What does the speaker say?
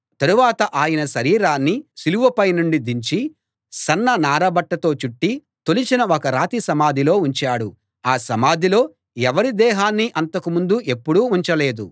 తరువాత ఆయన శరీరాన్ని సిలువపైనుండి దించి సన్న నారబట్టతో చుట్టి తొలిచిన ఒక రాతి సమాధిలో ఉంచాడు ఆ సమాధిలో ఎవరి దేహాన్నీ అంతకు ముందు ఎప్పుడూ ఉంచలేదు